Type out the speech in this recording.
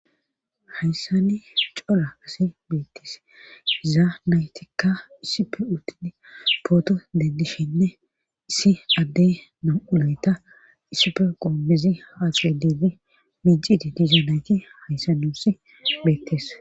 Hayssani cola kase beettis izaa naytikka issipe uttidi pooto dendishinne issi addey na7ulayta issipe goommezi haaxiwedeede micidi dizanayti hayssa nuussi beettes